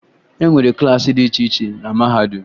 E nwere klaasị dị iche iche na mahadum